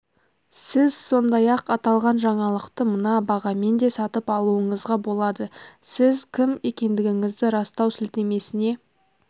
сіз сондай-ақ аталған жаңалықты мына бағамен де сатып алуыңызға болады сіз кім екендігіңізді растау сілтемесіне